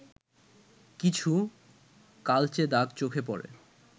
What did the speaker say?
কিছু কালচে দাগ চোখে পড়ে